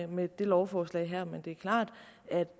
med det lovforslag her men det er klart at